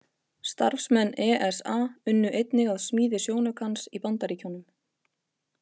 Starfsmenn ESA unnu einnig að smíði sjónaukans í Bandaríkjunum.